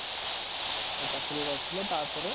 ଚାକିରି କରିଥିଲା ତାପରେ